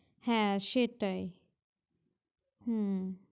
হ্যাঁ সেটাই, হ্যাঁ ।